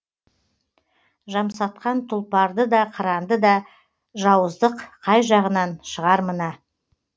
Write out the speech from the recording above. жамсатқан тұлпарды да қыранды да жауыздық қай жағынан шығар мына